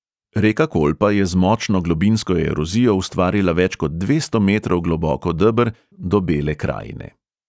Reka kolpa je z močno globinsko erozijo ustvarila več kot dvesto metrov globoko deber, do bele krajine.